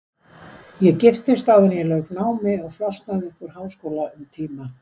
Ég giftist áður en ég lauk námi og flosnaði upp úr háskóla um tíma.